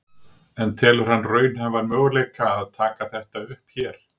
En telur hann raunhæfan möguleika að taka þetta upp hér?